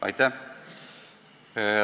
Aitäh!